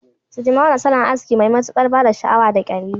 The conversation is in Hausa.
Sidimolo salon aski Mai matukar bada Sha awa da kyalli